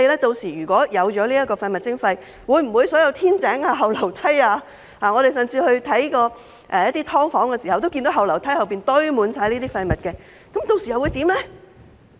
屆時推行廢物徵費後，會否所有天井、後梯......我們上次巡視"劏房"時，也看到後樓梯堆滿廢物，屆時又會怎樣呢？